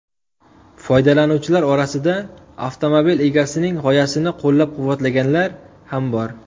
Foydalanuvchilar orasida avtomobil egasining g‘oyasini qo‘llab-quvvatlaganlar ham bor.